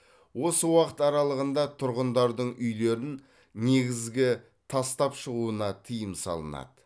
осы уақыт аралығында тұрғындардың үйлерін негізгі тастап шығуына тыйым салынады